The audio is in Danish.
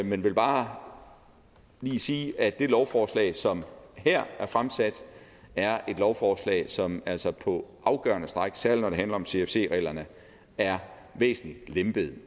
men vil bare lige sige at det lovforslag som her er fremsat er et lovforslag som altså på afgørende stræk særlig når det handler om cfc reglerne er væsentlig lempet